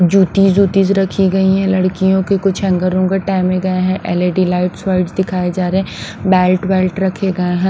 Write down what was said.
जूती जूती रखी गई है लड़कियों के कुछ हैंगर वांगर टाइमे गए हैंएलईडी लाइट्स वाइट्स दिखाए जा रहे हैं बेल्ट बेल्ट रखे गए हैं।